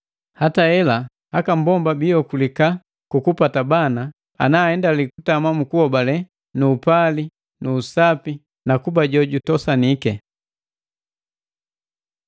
Hata hela, mmbomba jiokulika ku kupata bana, ngati naaendali kutama mu kuhobale nu upali nu usapi nu kuba jojutosaniki.